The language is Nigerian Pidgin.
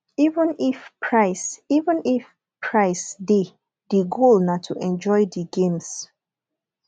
even if price even if price de di goal na to enjoy di games